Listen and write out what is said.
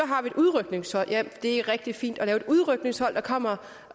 har et udrykningshold ja det er rigtig fint at lave et udrykningshold der kommer